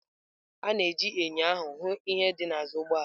A na-eji enyo ahụ hụ ihe dị n'azụ ụgbọ ala.